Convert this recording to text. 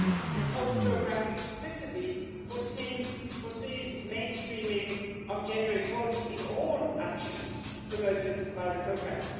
the health programme explicitly provides for the mainstreaming of gender equality in all actions promoted by the programme.